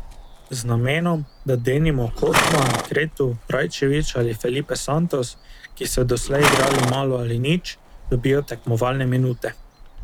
Z namenom, da denimo Cotman, Cretu, Rajčević ali Felipe Santos, ki so doslej igrali malo ali nič, dobijo tekmovalne minute.